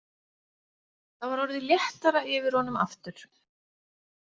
Það var orðið léttara yfir honum aftur.